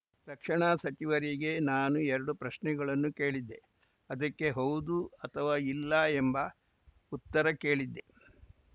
ರಕ್ಷಣಾ ಸಚಿವರಿಗೆ ನಾನು ಎರಡು ಪ್ರಶ್ನೆಗಳನ್ನು ಕೇಳಿದ್ದೆ ಅದಕ್ಕೆ ಹೌದು ಅಥವಾ ಇಲ್ಲ ಎಂಬ ಉತ್ತರ ಕೇಳಿದ್ದೆ